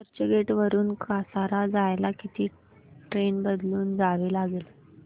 चर्चगेट वरून कसारा जायला किती ट्रेन बदलून जावे लागेल